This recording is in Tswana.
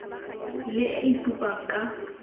le e e supang ka